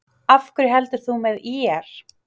Af hverju heldur þú með ÍR?